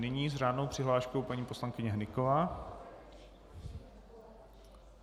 Nyní s řádnou přihláškou paní poslankyně Hnyková.